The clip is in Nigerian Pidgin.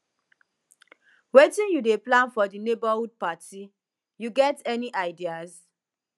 wetin you dey plan for di neighborhood party you get any ideas